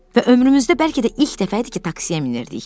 və ömrümüzdə bəlkə də ilk dəfə idi ki, taksiyə minirdik.